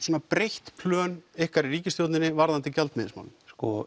breytt plön ykkar í ríkisstjórninni varðandi gjaldmiðilsmálin sko